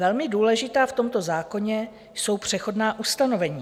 Velmi důležitá v tomto zákoně jsou přechodná ustanovení.